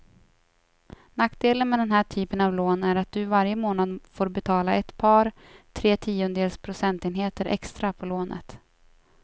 Nackdelen med den här typen av lån är att du varje månad får betala ett par, tre tiondels procentenheter extra på lånet.